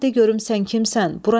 Ancaq de görüm sən kimsən?